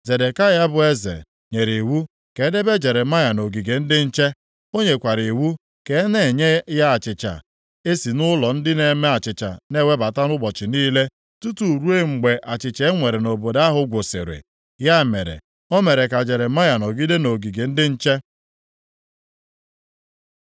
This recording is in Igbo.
Zedekaya bụ eze, nyere iwu ka e debe Jeremaya nʼogige ndị nche. O nyekwara iwu ka a na-enye ya achịcha e si nʼụlọ ndị na-eme achịcha na-ewebata ụbọchị niile, tutu ruo mgbe achịcha e nwere nʼobodo ahụ gwụsịrị. Ya mere, o mere ka Jeremaya nọgide nʼogige ndị nche.